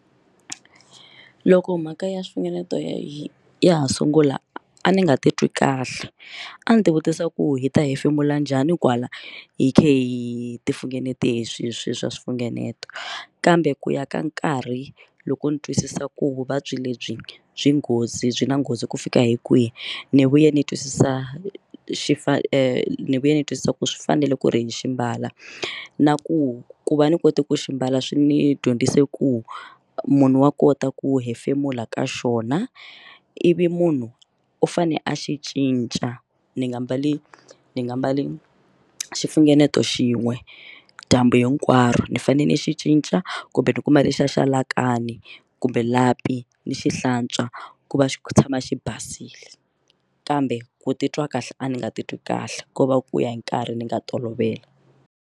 Loko mhaka ya swifunengeto yi ya ha sungula a ndzi nga titwi kahle a ndzi ti vutisa ku hi ta hefemula njhani kwala hi kha hi xifungeneto hi swihi swilo swa xifungeneto kambe ku ya ka nkarhi loko ni twisisa ku vuvabyi lebyi byi nghozi byi na nghozi ku fika hi kwihi ni vuye ni twisisa xifa ni vuye ni twisisa ku swi fanele ku ri ni xi ambala na ku ku va ni kote ku xi mbala swi ni dyondzise ku munhu wa kota ku hefemula ka xona ivi munhu u fane a xi cinca ni nga mbali ni nga mbali xifungeneto xin'we dyambu hinkwaro ni fanele ni xi cinca kumbe ni kuma lexiya xa like kahle a ni kumbe lapi ni xi hlantswa ku va xi tshama xi basile kambe ku titwa kahle a ni nga titwi kahle ko va ku ya hi nkarhi ni nga tolovela.